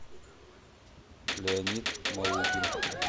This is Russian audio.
леонид малыгин